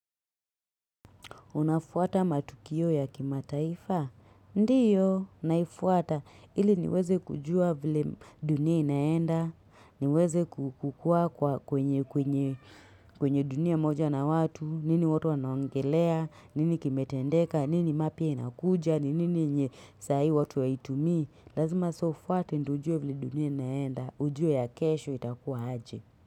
Unafuata matukio ya kimataifa? Ndiyo, naifuata. Ili niweze kujua vile dunia inaenda, niweze kukua. Kwenye dunia moja na watu, nini watu wanaongelea, nini kimetendeka, nini mapi inakuja, nini nye saa hii watu waitumi, lazima sofuata ndujua vile dunia inaenda, ujua ya kesho itakuwa aje.